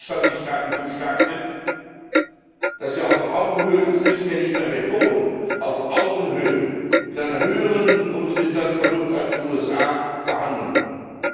bzw. 28 Staaten so stark sind, dass wir auf Augenhöhe das müssen wir nicht mehr betonen mit einem höheren Bruttoinlandsprodukt als die USA verhandeln können.